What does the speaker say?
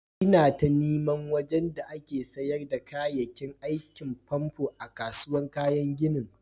lna ta niman wajen da ake sayar da kayakin aikin famfo a'kasuwan kayan ginin.